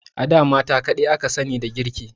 A da mata kadai aka sani da girki.